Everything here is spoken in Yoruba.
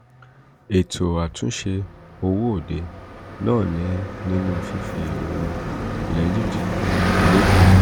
ètò àtúnṣe owó-òde náà ní nínú fífi owó ilẹ̀ egypt lédè egypt.